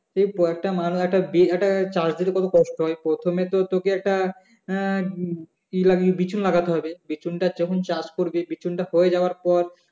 . একটা চাষির কত কষ্ট হয় প্রথমে তো তোকে একটা উম বি বিচুন লাগাতে হবে বিচুনটা যখন চাষ করবে বিচুনটা হয়ে যাওয়ার পর